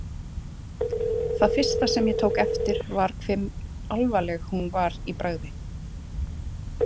Það fyrsta sem ég tók eftir var hve alvarleg hún var í bragði.